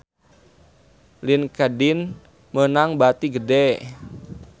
Linkedin meunang bati gede